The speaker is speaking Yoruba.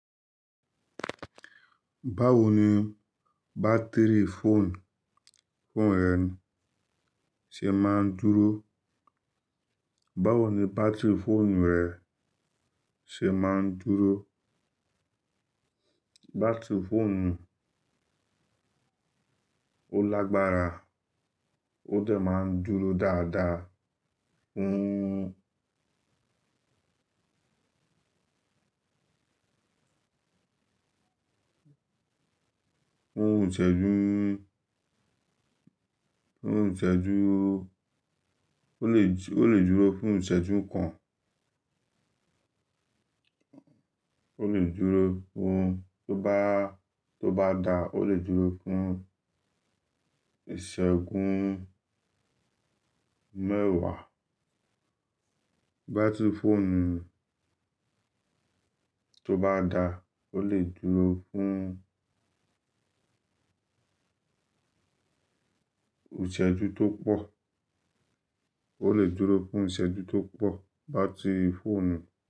Báwo ni bátìrì fóònù, fóònù rẹ ṣe máa ń dúró? Báwo ni bátìrì fóònù rẹ ṣe máa ń dúró? Bátìrì fóònù ó lágbára ó dẹ̀ máa ń dúró dáadáa, fún, fún ìṣẹ́jú, fún ìṣẹ́jú ó lè, ó lè dúró fún ìṣẹ́jú kan. Ó lè dúró fún tó bá, tó bá dá ó lè dúró fún ìṣẹ́gun mẹ́wàá. Bátìrì fóònù tó bá dá ó lè dúró fún ìṣẹ́jú tó pọ̀. Ó lè dúró fún ìṣẹ́jú tó pọ̀ bátìrì fóònù.